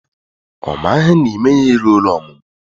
Ọ maghị na ime ya eruola ọmụmụ